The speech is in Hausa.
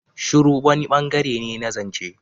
Shiru wani bangare ne na zance.